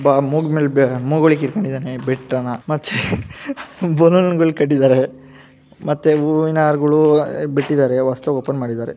ಬಾ ಸ್ಗ್ ಸ್ಫಸ್ಫಗ್ ಜಿಸ್ ಫ್ ಜಿ ಮತ್ತು ಬಲೂನ್ ಗಳು ಕಟ್ಟಿದಾರೆ ಮತ್ತು ಹೂವಿನ ಹಾರಗಳು ಬಿಟ್ಟಿದಾರೆ ಹೊಸದಾಗಿ ಓಪನ್ ಮಾಡಿದಾರೆ.